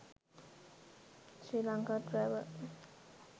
sri lanka travel